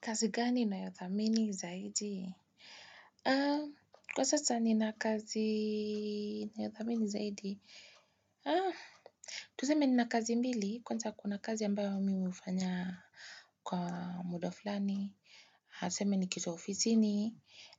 Kazi gani unayothamini zaidi? Kwa sasa ni na kazi na yothamini zaidi. Tuseme ni na kazi mbili kwanza kuna kazi ambayo mi hufanya kwa muda fulani. Ha tuseme ni kitu ya ofisini.